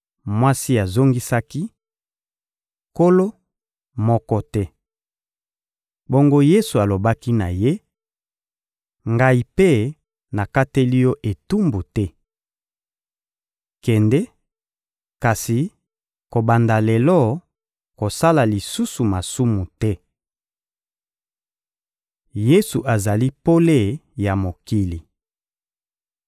Mwasi azongisaki: — Nkolo, moko te! Bongo Yesu alobaki na ye: — Ngai mpe nakateli yo etumbu te. Kende; kasi, kobanda lelo, kosala lisusu masumu te.] + 8.11 Biteni oyo, 7.54–8.11, ezali te na mikanda mosusu Yesu azali pole ya mokili